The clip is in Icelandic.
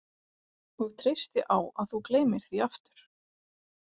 Og treysti á að þú gleymir því aftur.